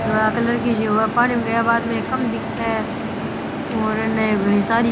धोला कलर की काम दिखे है और अने घनी सारी --